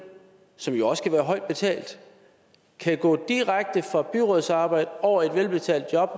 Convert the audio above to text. som jo også kan være højt betalt kan gå direkte fra byrådsarbejdet over i et velbetalt job